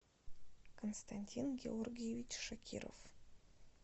константин георгиевич шакиров